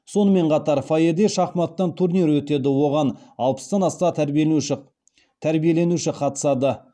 сонымен қатар фойеде шахматтан турнир өтеді оған алпыстан аса тәрбиеленуші қатысады